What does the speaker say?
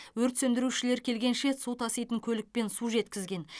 өрт сөндірушілер келгенше су таситын көлікпен су жеткізген